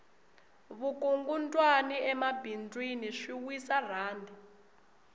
vukungundwani emabindzwini swi wisa rhandi